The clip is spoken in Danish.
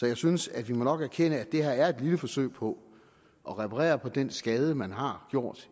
jeg synes at vi nok må erkende at det her er et lille forsøg på at reparere på den skade man har gjort